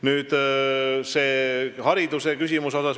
Nüüd see hariduseküsimus.